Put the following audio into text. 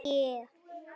Ertu eitthvað súr?